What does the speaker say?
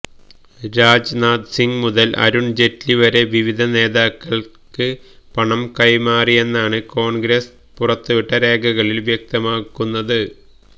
രാജ്നാഥ് സിങ് മുതല് അരുണ് ജയ്റ്റ്ലി വരെ വിവിധ നേതാക്കള്ക്ക് പണം കൈമാറിയെന്നാണ് കോണ്ഗ്രസ് പുറത്തുവിട്ട രേഖകളില് വ്യക്തമാക്കുന്നത്